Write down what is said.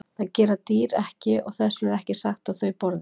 Það gera dýr ekki og þess vegna er ekki sagt að þau borði.